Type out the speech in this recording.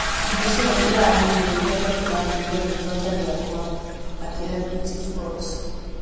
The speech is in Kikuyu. Hingo ciothe ndĩramuugĩrĩria tondũ aheirwo rĩtwa ta rĩakwa’’ akĩĩra BT Spot